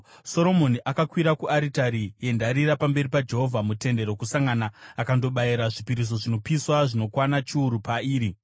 Soromoni akakwira kuaritari yendarira pamberi paJehovha muTende Rokusangana akandobayira zvipiriso zvinopiswa zvinokwana chiuru pairi.